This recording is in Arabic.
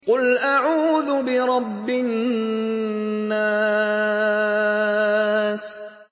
قُلْ أَعُوذُ بِرَبِّ النَّاسِ